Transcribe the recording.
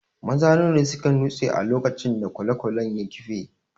Maza nawa ne suka nutse a lokacin da kwale-kwalen ya kife?